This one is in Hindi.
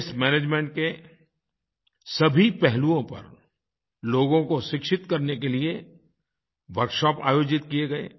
वास्ते मैनेजमेंट के सभी पहलूओं पर लोगों को शिक्षित करने के लिए वर्कशॉप आयोजित किये गए